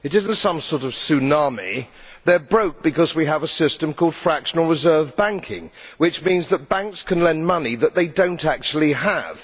it is not some sort of tsunami. They are broke because we have a system called fractional reserve banking, which means that banks can lend money that they do not actually have.